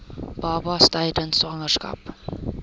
babas tydens swangerskap